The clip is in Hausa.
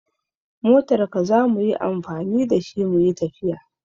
We are going to use your car to travel.